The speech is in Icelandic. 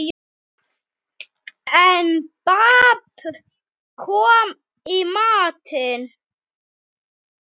En babb kom í bátinn.